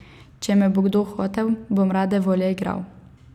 Če me bo kdo hotel, bom rade volje igral.